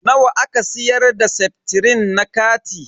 Nawa aka siyar da seftrin na kati?